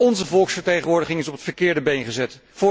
Onze volksvertegenwoordiging is op het verkeerde been gezet.